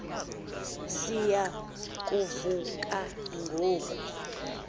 siya kuvuka ngoku